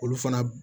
Olu fana b